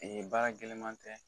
baara gɛlɛnman tɛ